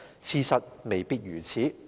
事實未必如此。